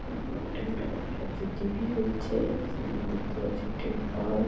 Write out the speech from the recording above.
ওপরে অনেক লাইট একটি টি.ভি. চলছে সামনে দেখতে পাচ্ছি একটি তার।